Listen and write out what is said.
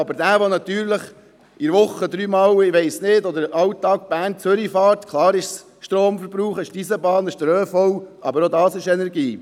Aber derjenige, der mit der Bahn jeden Tag von Bern nach Zürich und zurückfährt, verbraucht auch Energie, auch wenn er den ÖV benutzt und Strom benötigt.